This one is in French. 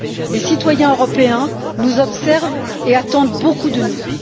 Les citoyens européens nous observent et attendent beaucoup de nous.